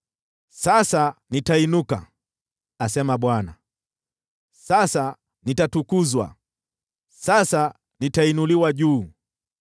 “Sasa nitainuka,” asema Bwana . “Sasa nitatukuzwa; sasa nitainuliwa juu.